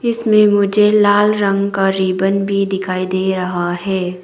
उसमें मुझे लाल रंग का रिबन भी दिखाई दे रहा है।